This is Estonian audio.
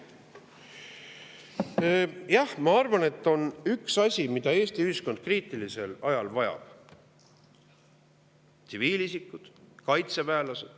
Jah, ma arvan, et on üks asi, mida Eesti ühiskond kriitilisel ajal vajab ja nii tsiviilisikud kui ka kaitseväelased.